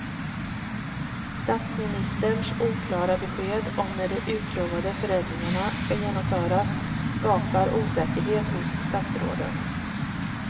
Statsministerns oklara besked om när de utlovade förändringarna ska genomföras skapar osäkerhet hos statsråden.